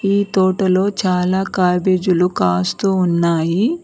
ఈ తోటలో చాలా క్యాబేజీలు కాస్తూ ఉన్నాయి.